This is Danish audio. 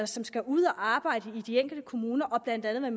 som skal ud at arbejde i de enkelte kommuner blandt andet